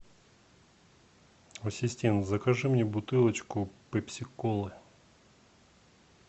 ассистент закажи мне бутылочку пепси колы